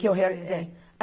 Que eu realizei.